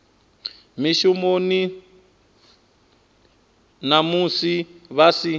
mushumoni na musi vha si